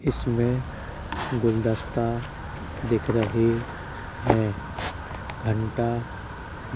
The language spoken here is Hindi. इसमें गुलदस्ता दिख रहे हैं घंटा --